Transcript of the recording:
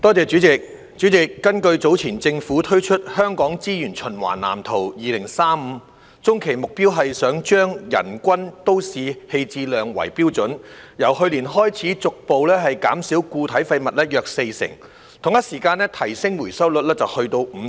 主席，根據早前政府推出的《香港資源循環藍圖2035》，中期目標是希望以人均都市棄置量為標準，由去年開始，逐步減少固體廢物約四成，並於同一時間提升回收率至 55%。